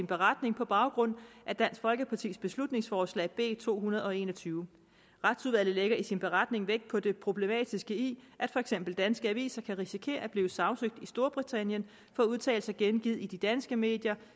beretning på baggrund af dansk folkepartis beslutningsforslag nummer b to hundrede og en og tyve retsudvalget lægger i sin beretning vægt på det problematiske i at for eksempel danske aviser kan risikere at blive sagsøgt i storbritannien for udtalelser gengivet i de danske medier